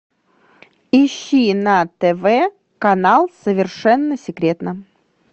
ищи на тв канал совершенно секретно